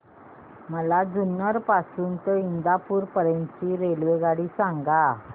मला जुन्नर पासून तर इंदापूर पर्यंत ची रेल्वेगाडी सांगा